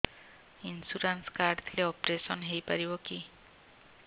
insurance card ଥିଲେ operation ହେଇପାରିବ କି